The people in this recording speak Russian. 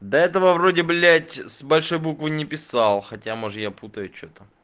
до этого вроде блять с большой буквы не писал хотя может я путаю что-то